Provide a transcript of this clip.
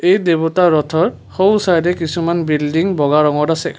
এই দেৱতা ৰথৰ সোঁচাইডে কিছুমান বিল্ডিং বগা ৰঙত আছে।